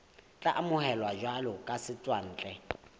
tla amohelwa jwalo ka setswantle